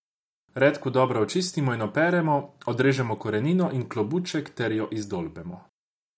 Redkev dobro očistimo in operemo, odrežemo korenino in klobuček ter jo izdolbemo.